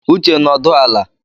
Uche, nọdụ ala!